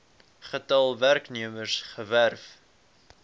getal werknemers gewerf